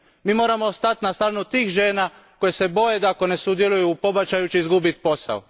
Mi moramo stati na stranu tih žena koje se boje da ako ne sudjeluju u pobačaju će izgubiti posao.